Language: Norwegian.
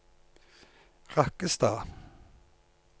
Rakkestad